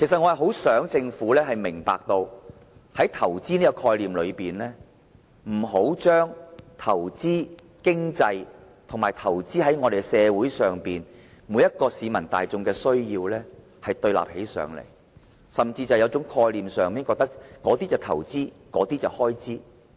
我很想政府明白，以投資的概念而言，不應把投資在經濟與投資在社會中每位市民的需要對立起來，甚至在概念上認為前者是投資，後者是開支。